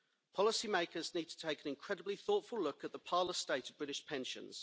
Policy-makers need to take an incredibly thoughtful look at the parlous state of British pensions.